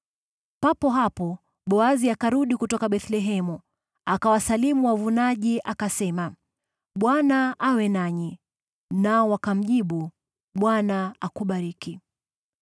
Papo hapo Boazi akarudi kutoka Bethlehemu, akawasalimu wavunaji, akasema, “ Bwana awe nanyi!” Nao wakamjibu, “ Bwana akubariki.”